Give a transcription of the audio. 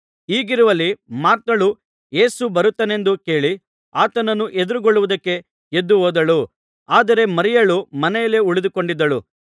ಹೀಗಿರುವಲ್ಲಿ ಮಾರ್ಥಳು ಯೇಸು ಬರುತ್ತಾನೆಂದು ಕೇಳಿ ಆತನನ್ನು ಎದುರುಗೊಳ್ಳುವುದಕ್ಕೆ ಎದ್ದು ಹೋದಳು ಆದರೆ ಮರಿಯಳು ಮನೆಯಲ್ಲೇ ಉಳಿದುಕೊಂಡಿದ್ದಳು